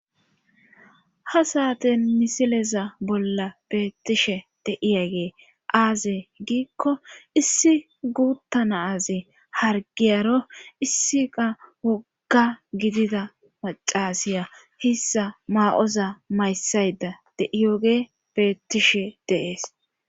ha saaten misileza bolla beettishe de'iyagey aaze giikko issi guutta nazi hargiyaro issiqa wogga gidida macasiya hissa maa7oza mayssayda deiyoge beettishe de'ees